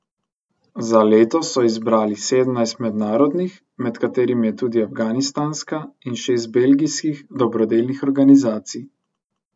Za letos so izbrali sedemnajst mednarodnih, med katerimi je tudi afganistanska, in šest belgijskih dobrodelnih organizacij.